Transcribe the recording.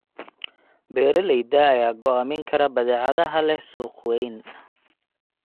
Beeralayda ayaa go'aamin kara badeecadaha leh suuq weyn.